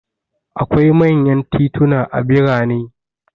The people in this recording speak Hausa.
Akwai manyan tituna a birane.